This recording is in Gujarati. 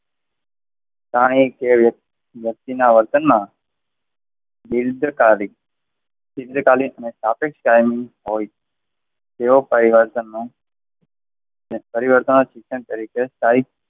શાહી કે વ્યક્તિના વર્તનમાં એવો પરિવર્તનો પરિવર્તનના શિક્ષણ તરીકે સ્થાયી,